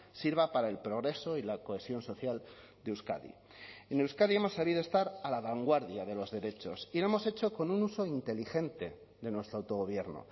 sirva para el progreso y la cohesión social de euskadi en euskadi hemos sabido estar a la vanguardia de los derechos y lo hemos hecho con un uso inteligente de nuestro autogobierno